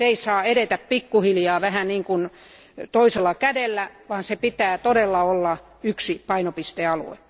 Se ei saa edetä pikkuhiljaa vähän niin kuin toisella kädellä, vaan sen täytyy olla yksi painopistealue.